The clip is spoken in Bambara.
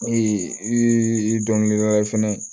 i dɔnkilidala fɛnɛ